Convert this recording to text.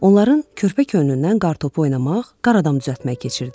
Onların körpə könlündən qartopu oynamaq, qaradam düzəltmək keçirdi.